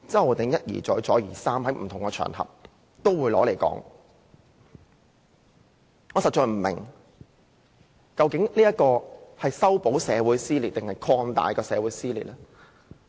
可是，他卻一而再、再而三地在不同場合提出來，我實在不明白，他是要修補還是擴大社會撕裂。